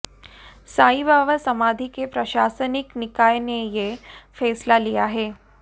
साईं बाबा समाधी के प्रशासनिक निकाय ने ये फैसला लिया है